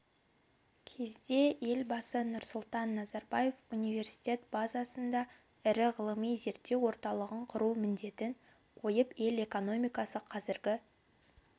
кезде елбасы нұрсұлтан назарбаев университет базасында ірі ғылыми-зерттеу орталығын құру міндетін қойып ел экономикасы қазіргі